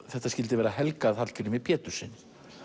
þetta skyldi vera helgað Hallgrími Péturssyni